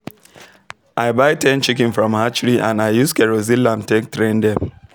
i buy ten chiken from hatchery and i use kerosene lamp take train dem